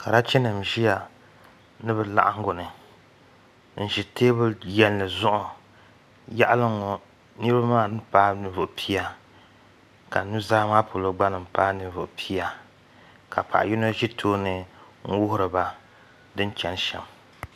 Karachi nim n ʒiya ni bi laɣingu ni n ʒi teebuli yɛnli zuɣu yaɣali n ŋo niraba maa paai ninvuɣu pia ka nuzaa polo gba nim paai ninvuɣu pia ka paɣa yino ʒɛ tooni n wuhiriba din chɛni shɛm